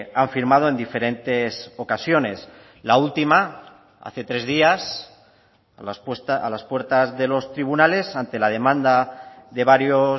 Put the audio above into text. han firmado en diferentes ocasiones la última hace tres días a las puertas de los tribunales ante la demanda de varios